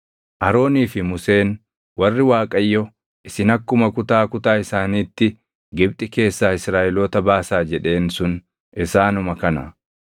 Aroonii fi Museen warri Waaqayyo, “Isin akkuma kutaa kutaa isaaniitti Gibxi keessaa Israaʼeloota baasaa” jedheen sun isaanuma kana.